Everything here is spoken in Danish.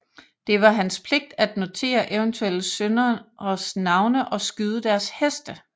Det var hans pligt at notere eventuelle synderes navne og skyde deres heste